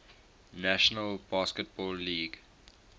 national basketball league